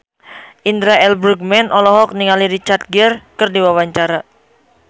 Indra L. Bruggman olohok ningali Richard Gere keur diwawancara